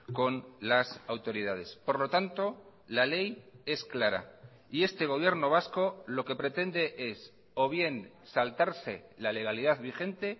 con las autoridades por lo tanto la ley es clara y este gobierno vasco lo que pretende es o bien saltarse la legalidad vigente